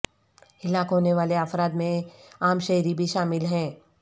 ہلاک ہونے والے افراد میں عام شہری بھی شامل ہیں